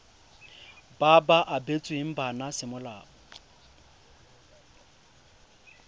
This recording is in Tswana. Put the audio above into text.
ba ba abetsweng bana semolao